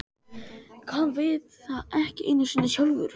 Hann veit það ekki einu sinni sjálfur.